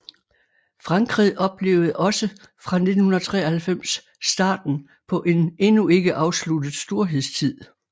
Frankrig oplevede også fra 1993 starten på en endnu ikke afsluttet storhedstid